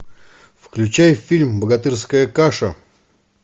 включай фильм богатырская каша